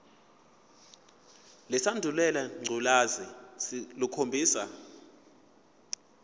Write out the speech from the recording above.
lesandulela ngculazi lukhombisa